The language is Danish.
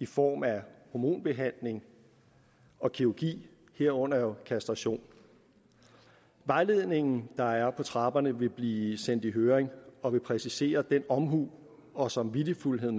i form af hormonbehandling og kirurgi herunder kastration vejledningen der er på trapperne vil blive sendt i høring og vil præcisere den omhu og samvittighedsfuldhed